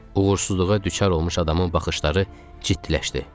Uğursuzluğa düçar olmuş adamın baxışları ciddiləşdi.